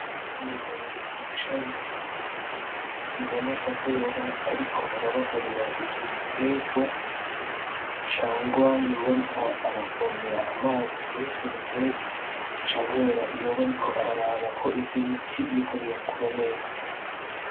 Umugabo yicaye, biboneka ko yoba ariko arabagarira ivyo biterwa, cangwa yoba arik' aravomera amazi mur'ivyo biterwa, canke yoba ariko araraba ko ivyo biti biriko birakura neza.